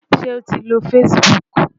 Ṣé o ti lo Facebook?